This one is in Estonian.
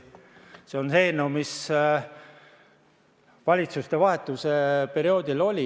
See on see eelnõu, mis oli valitsuste vahetuse perioodil oli.